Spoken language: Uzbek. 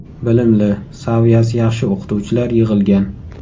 Bilimli, saviyasi yaxshi o‘qituvchilar yig‘ilgan.